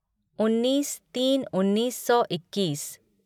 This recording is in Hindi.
उन्नीस तीन उन्नीस सौ इक्कीस